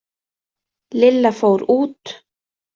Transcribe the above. Lilla fór út.